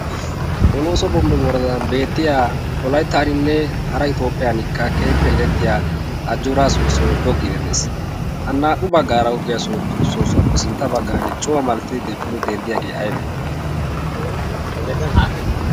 polooso bombbe woradan beettiya wolayttaaninne hara itoophiyankka keehippe erettiya ajjoora soossoy goggidi de'ees. ha naa'u baggaara goggiya soossuwaappe sintta baggan cuwaa malattidi pude denddiyaagee aybee?